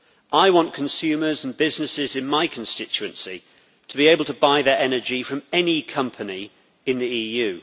I want consumers and businesses in my constituency to be able to buy their energy from any company in the EU.